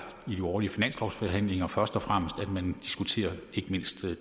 i de årlige finanslovsforhandlinger først og fremmest at man diskuterer